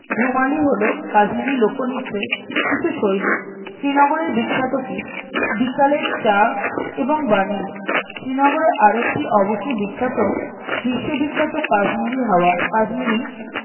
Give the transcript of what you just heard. ধুমালি হলো কাশ্মীরি লোকনৃত্যের কিছু শৈলী শ্রীনগরের বিখ্যাত কি বিকালের চা এবং banning শ্রীনগরে আর একটি অবশ্যই বিখ্যাত বিশ্ববিখ্যাত কাশ্মীরি হাওয়া কাশ্মীরি